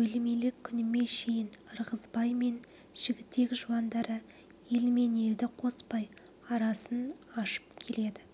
өлмелі күніме шейін ырғызбай мен жігітек жуандары елмен елді қоспай арасын ашып келеді